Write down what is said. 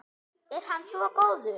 Er hann svo góður?